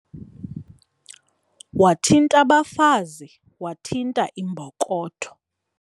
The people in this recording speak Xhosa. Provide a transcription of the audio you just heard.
Wathint' abafazi wathinta imbokotho.